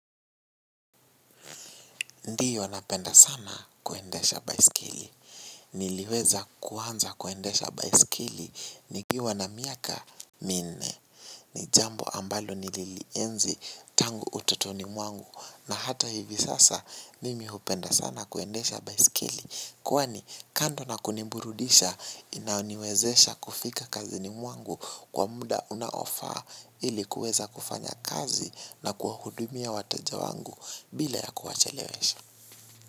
Ndio napenda sana kuendesha baisikeli. Niliweza kuanza kuendesha baisikeli. Nikiwa na miaka minne. Ni jambo ambalo nililienzi tangu utotoni mwangu. Na hata hivi sasa nimi hupenda sana kuendesha baisikeli. Kwani kando na kuniburudisha inaniwezesha kufika kazini mwangu kwa muda unaofaa ili kuweza kufanya kazi na kuwahudumia wateja wangu bila ya kuwachelewesha.